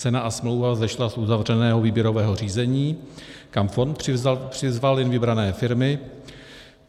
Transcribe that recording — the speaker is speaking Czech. Cena a smlouva vzešla z uzavřeného výběrového řízení, kam fond přizval jen vybrané firmy.